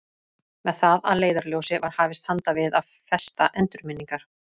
Með það að leiðarljósi var hafist handa við að festa endurminningar